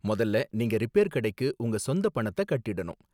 மொதல்ல நீங்க ரிப்பேர் கடைக்கு உங்க சொந்த பணத்தை கட்டிடணும்.